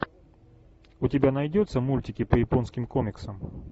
у тебя найдется мультики по японским комиксам